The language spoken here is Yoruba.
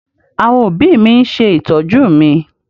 Àwọn òbí mi ń ṣe ìtọ́jú mi.